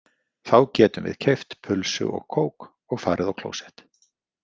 Þá getum við keypt pulsu og kók og farið á klósett